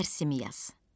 Dərsimi yaz.